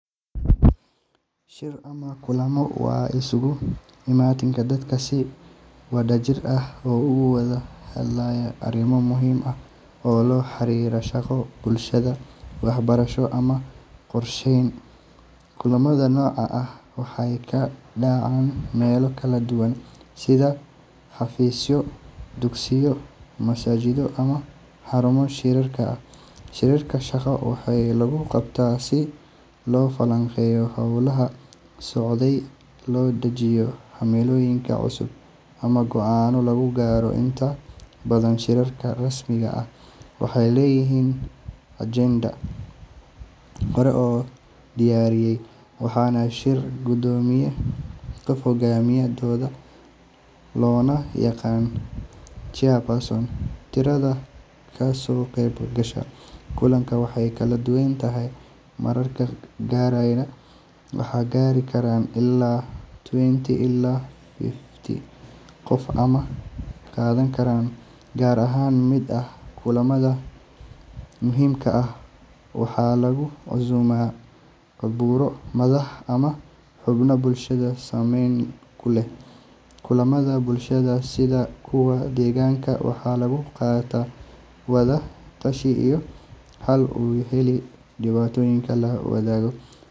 Shir ama kulammo waa isugu imaatin dad si wadajir ah uga wada hadlaya arrimo muhiim ah oo la xiriira shaqo, bulsho, waxbarasho ama qorsheyn. Kulammada noocan ah waxay ka dhacaan meelo kala duwan sida xafiisyo, dugsiyo, masaajidyo ama xarumo shirarka ah. Shirarka shaqo waxaa lagu qabtaa si loo falanqeeyo hawlaha socday, loo dejiyo himilooyin cusub, ama go’aano lagu gaaro. Inta badan shirarka rasmi ah waxay leeyihiin ajende hore loo diyaariyay, waxaana shir guddoomiya qof hogaaminaya doodda, loona yaqaan chairperson. Tirada ka soo qayb gasha kulanka way kala duwan tahay, mararka qaarna waxay gaari karaan ilaa twenty ilaa fifty qof ama ka badan. Qaar ka mid ah kulamada muhiimka ah waxaa lagu casuumaa khuburo, madax, ama xubno bulshada saameyn ku leh. Kulammada bulshada, sida kuwa deegaanka, waxaa lagu gartaa wada tashi iyo xal u helid dhibaatooyinka la wadaago.